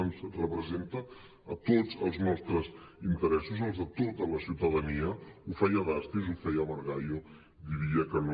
ens representa a tots als nostres interessos els de tota la ciutadania ho feia dastis ho feia margallo diria que no